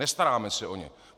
Nestaráme se o ně.